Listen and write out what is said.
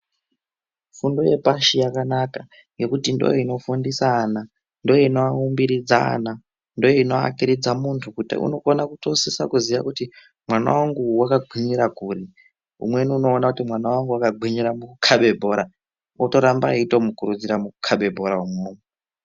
Fundo yepashi yakanaka nekuti ndoino fundisa ana, ndoinoaumbiridza ana , ndoino akairidza muntu kuti unokana kutosisa kuziya kuti mwana wangu wakagwinyira kuri umweni unokona kuti mwana wangu wakagwinyira mukukabe bhora otoramba eitomukurudzira mukukabe bhora unwomwo.